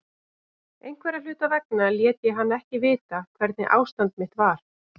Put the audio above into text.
Einhverra hluta vegna lét ég hann ekki vita hvernig ástand mitt var.